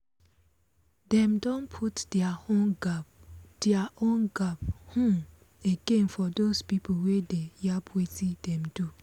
dem don put deir own gap deir own gap um again for dos pipo wey dey yab wetin dem do